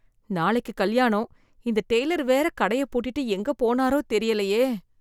நாளைக்கு கல்யாணம், இந்த டெய்லர் வேற கடைய பூட்டிட்டு எங்க போனாரோ தெரியலையே.